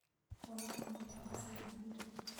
Ũrakomire thaa cigana ira?